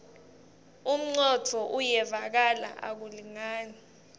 umcondvo uyevakala akulingani